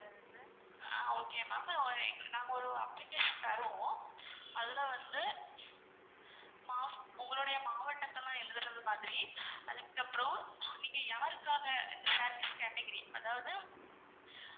ஆஹ் okay ma'am இப்போ நாங்க ஒரு application தருவோம். அதுல வந்து மா உங்களுடைய மாவட்டதெல்லான் எழுதுறது மாதிரி அதுக்கு அப்புறம் நீங்க யாருக்காக category அதாவது